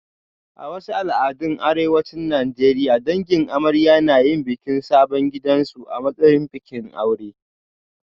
A wasu al'adun arewacin Najeriya, dangin amarya na yin bikin sabon gidansu a matsayin bikin aure